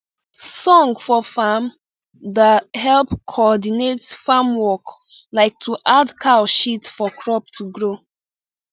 song for farm da help cordinate farm work like to add cow shit for crop to grow